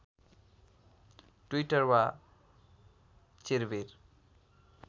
Twitter वा चिर्विर